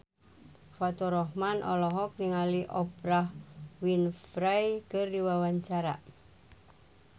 Faturrahman olohok ningali Oprah Winfrey keur diwawancara